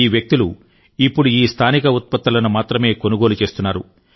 ఈ వ్యక్తులు ఇప్పుడు ఈ స్థానిక ఉత్పత్తులను మాత్రమే కొనుగోలు చేస్తున్నారు